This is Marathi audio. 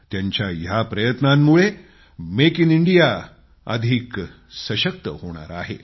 त्यांच्या या प्रयत्नांमुळे मेक इन इंडिया अधिक सशक्त होणार आहे